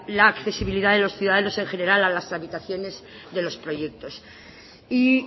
la accesibilidad de los ciudadanos en general a las tramitaciones de los proyectos y